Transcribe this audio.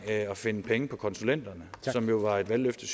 at at finde penge på konsulenterne som jo var et valgløfte